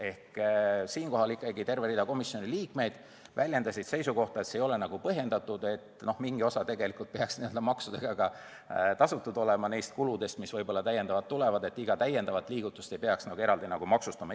Ehk siinkohal ikkagi terve hulk komisjoni liikmeid väljendas seisukohta, et see ei ole põhjendatud, sest mingi osa neist kuludest, mis võib-olla juurde tulevad, peaks olema juba maksudega tasutud ja iga lisaliigutust ei peaks eraldi maksustama.